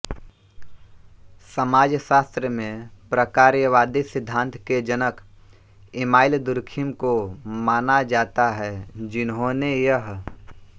समाजशास्त्र में प्रकार्यवादी सिद्धान्त के जनक इमाइल दुर्खिम को माना जाता है जिन्होंने यह